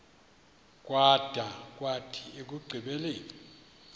kwada kwathi ekugqibeleni